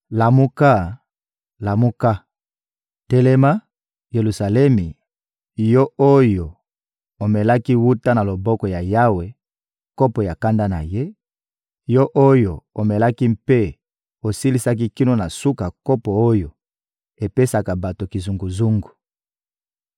Lamuka, lamuka! Telema, Yelusalemi, yo oyo omelaki, wuta na loboko ya Yawe, kopo ya kanda na Ye; yo oyo omelaki mpe osilisaki kino na suka kopo oyo epesaka bato kizunguzungu.